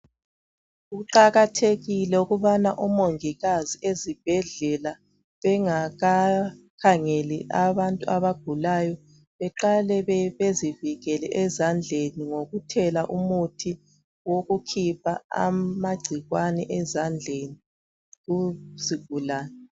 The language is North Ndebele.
Kuqakathekile ukubana oMongikazi ezibhedlela bengakakhangeli abantu abagulayo beqale bebezivikele ezandleni ngokuthela umuthi wokukhipha amagcikwane ezandleni kuzigulane